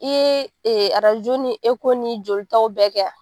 I ye e ni ni joli taw bɛɛ kɛ wa?